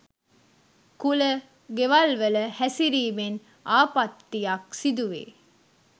කුල ගෙවල්වල හැසිරීමෙන් ආපත්තියක් සිදුවේ.